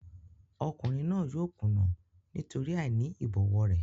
Ọkùnrin náà yóò kùnà nítorí àìní ìbọ̀wọ̀ rẹ̀.